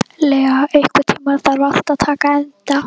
Lea, einhvern tímann þarf allt að taka enda.